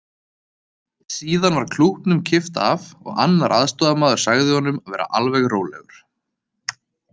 Síðan var klútnum kippt af og annar aðstoðamaður sagði honum að vera alveg rólegur.